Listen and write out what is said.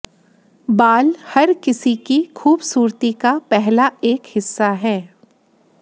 बाल हर किसी की खूबसूरती का पहला एक हिस्सा है